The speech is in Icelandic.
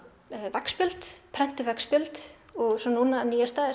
veggspjöld prentuð veggspjöld og svo núna nýjasta er